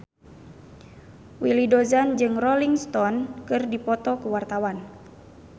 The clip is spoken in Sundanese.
Willy Dozan jeung Rolling Stone keur dipoto ku wartawan